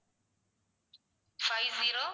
five zero